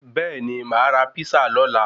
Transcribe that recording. Bẹẹni ma ra písà lola